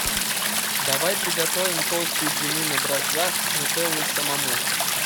давай приготовим толстые блины на дрожжах с нутеллой самому